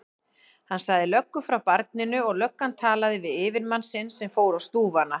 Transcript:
Hann sagði löggu frá barninu og löggan talaði við yfirmann sinn sem fór á stúfana.